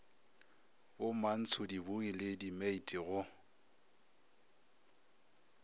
bomantsho dibooi le dimeiti go